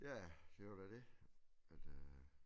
Ja det var da det altså